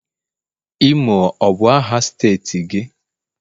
imo ọ bu aha steeti gi?